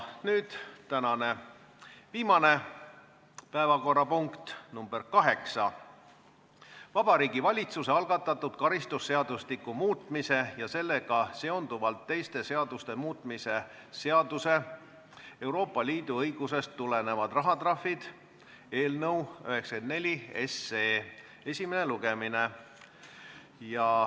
Nüüd tänane viimane päevakorrapunkt, nr 8, Vabariigi Valitsuse algatatud karistusseadustiku muutmise ja sellega seonduvalt teiste seaduste muutmise seaduse eelnõu 94 esimene lugemine.